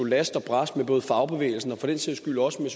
last og brast med både fagbevægelsen og for den sags skyld også med